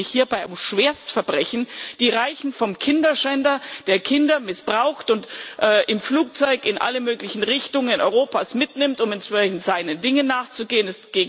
Es handelt sich hierbei um Schwerstverbrechen, die beginnen beim Kinderschänder, der Kinder missbraucht und im Flugzeug in alle möglichen Richtungen Europas mitnimmt, um entsprechend seinen Dingen nachzugehen.